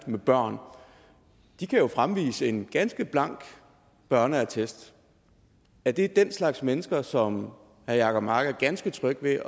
med børn de kan jo fremvise en ganske blank børneattest er det den slags mennesker som herre jacob mark er ganske tryg ved